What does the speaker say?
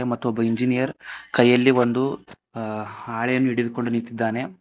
ಮತ್ತೊಬ್ಬ ಇಂಜಿನಿಯರ್ ಕೈಯಲ್ಲಿ ಒಂದು ಹಾಳೆಯನ್ನು ಹಿಡಿದುಕೊಂಡು ನಿಂತಿದ್ದಾನೆ.